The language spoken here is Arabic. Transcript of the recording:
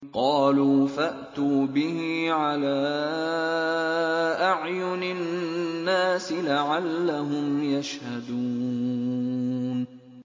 قَالُوا فَأْتُوا بِهِ عَلَىٰ أَعْيُنِ النَّاسِ لَعَلَّهُمْ يَشْهَدُونَ